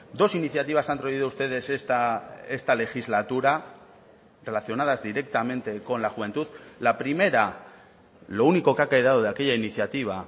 dos iniciativas han traído ustedes esta legislatura relacionadas directamente con la juventud la primera lo único que ha quedado de aquella iniciativa